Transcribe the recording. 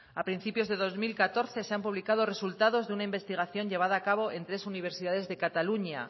a principio de dos mil catorce se han publicado resultados de una investigación llevada a cabo en tres universidades de cataluña